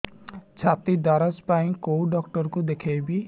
ଛାତି ଦରଜ ପାଇଁ କୋଉ ଡକ୍ଟର କୁ ଦେଖେଇବି